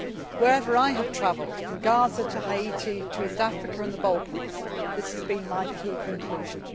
Wherever I have travelled from Gaza to Haiti to East Africa and the Balkans this has been my key conclusion.